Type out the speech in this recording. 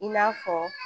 I n'a fɔ